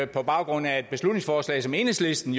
på baggrund af et beslutningsforslag som enhedslisten